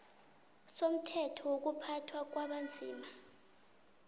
somthetho wokuphathwa kwabanzima